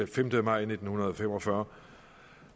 femte maj nitten fem og fyrre